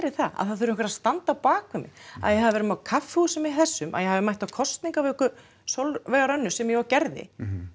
það að það þurfi einhver að standa á bak við mig að ég hafi verið á kaffihúsi með þessum að ég hafi mætt á kosningavöku Sólveigar Önnu sem ég og gerði